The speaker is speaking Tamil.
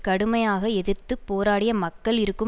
கடுமையாக எதிர்த்து போராடிய மக்கள் இருக்கும்